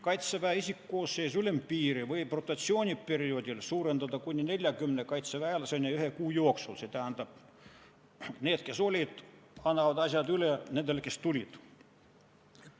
Kaitseväe isikkoosseisu ülempiiri võib rotatsiooni perioodil suurendada kuni 40 kaitseväelaseni ühe kuu jooksul, st need, kes olid, annavad asjad üle nendele, kes tulid.